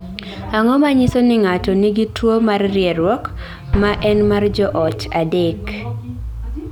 Ang�o ma nyiso ni ng�ato nigi tuo mar rieruok, ma en mar joot, adek?